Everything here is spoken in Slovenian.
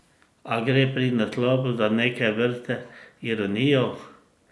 A gre pri naslovu za neke vrste ironijo?